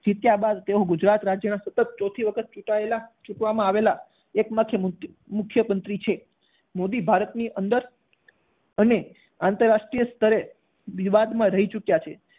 જીત્યા બાદ તેઓ ગુજરાત રાજ્યના સતત ચોથી વખત ચૂંટાયેલા ચૂંટવામાં આવેલા એક માત્ર મુખ્ય~મુખ્યતંત્રી છે. મોદી ભારતની અંદર અને આંતરરાષ્ટ્રીય સ્તરે વિવાદમાં રહી ચૂક્યા છે.